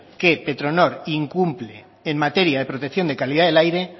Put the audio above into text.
que petronor incumple en materia de protección de calidad del aire